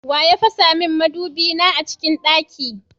Waya fasamin madubi na a cikin ɗaki?